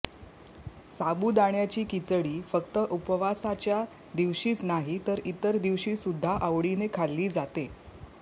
साबुदाण्याची खिचडी फक्त उपवासाच्या दिवशीच नाही तर इतर दिवशी सुद्धा आवडीने खाल्ली जाते